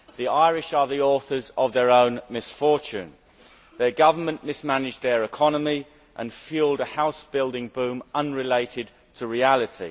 The Irish are the authors of their own misfortune their government mismanaged their economy and fuelled a house building boom unrelated to reality.